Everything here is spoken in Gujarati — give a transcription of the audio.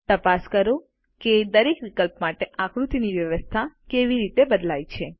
તપાસ કરો કે દરેક વિકલ્પ માટે આકૃતિની વ્યવસ્થા કેવી રીતે બદલાય છે